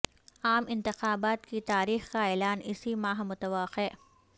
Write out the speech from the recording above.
عام انتخابات کی تاریخ کا اعلان اسی ماہ متوقع